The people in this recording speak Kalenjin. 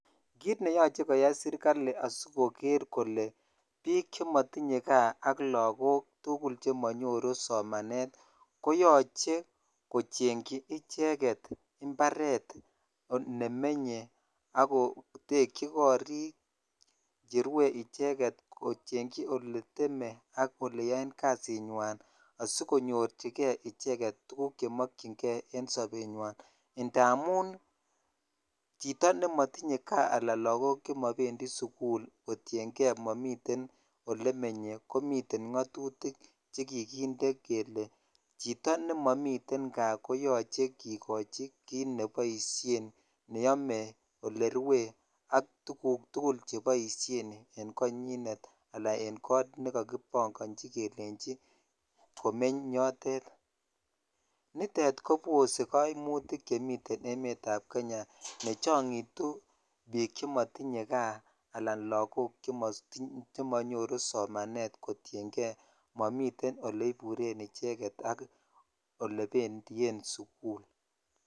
Kiit neyoche koyai serikali asikoker kolee biik chemotinye kaa ak tukul chemonyoru somanet koyoche kochenyi icheket imbaret olemenye ak kotekyi korik cherwe icheket, kochengyi oleteme ak oleyoen kasinywan asikonyorchike icheket tukuk chemokyinge en sobenywan ndamun chito nemotinye kaa alaan lokok chemobendi sukul kotienge momiten olemenye komiten ngotutik chekikinde kelee chito nemomiten kaa koneyoche kikochi kiit neboishen neyome olerwe ak tukuk tukul cheboishen en konyinet alaan en koot nekokibong'onchi kelenji komeny yotet, nitet kobose koimutik chemiten emetab Kenya nechong'itu biik chemotinye kaa alaan lokok chemotinye chemonyoru somanet kotienge momiten oleburen icheket ak olebendien sukul.